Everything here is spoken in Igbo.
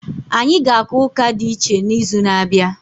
Anyị ga-aga ụka dị iche n'izu na-abịa.